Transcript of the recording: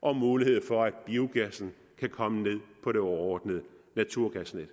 og mulighed for at biogassen kan komme ned på det overordnede naturgasnet